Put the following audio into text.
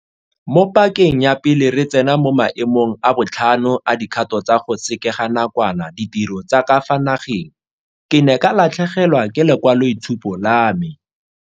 Mo pakeng ya pele re tsena mo maemong a botlhano a dikgato tsa go sekeganakwana ditiro tsa ka fa nageng, ke ne ka latlhegelwa ke lekwaloitshupo la me.